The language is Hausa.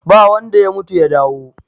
ba wanda ya mutu ya dawo